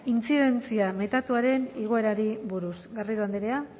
intzidentzia metatuaren igoerari buruz garrido andrea